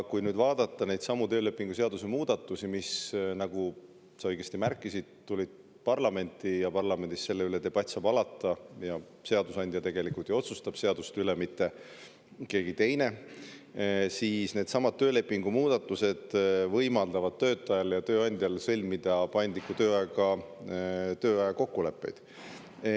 Needsamad töölepingu seaduse muudatused, mis, nagu sa õigesti märkisid, tulid parlamenti, kus saab debatt selle üle alata – seadusandja tegelikult ju otsustab seaduste üle, mitte keegi teine –, võimaldavad töötajal ja tööandjal sõlmida paindliku tööaja kokkuleppeid.